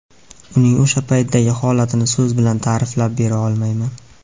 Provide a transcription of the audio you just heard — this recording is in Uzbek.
Uning o‘sha paytdagi holatini so‘z bilan ta’riflab bera olmayman.